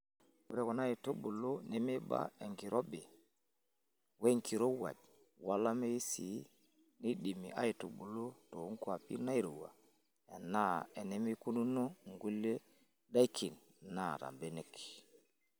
Ore kuna aitubulun nemeiba enkirobi wenkirowuaj olameyu sii, neidimi aitubulu too nkwapi nairowua enaa enemeikununo nkulie daikin naata mbenek.